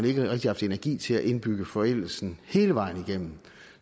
ikke rigtig haft energi til at indbygge forældelsen hele vejen igennem